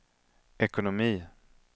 ekonomi